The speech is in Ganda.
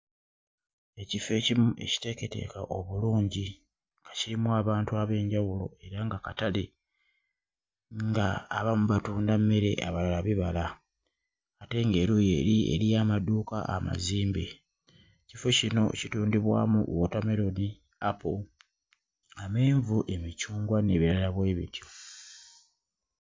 Ekifo ekirimu ekiteeketeeke obulungi nga kirimu abantu ab'enjawulo era nga katale nga abamu batunda mmere, abalala bibala ate ng'eruuyi eri eriyo amaduuka amazimbe. Ekifo kino kitundibwamu wootammeroni, apo, amenvu. emicungwa n'ebirala bwe bityo.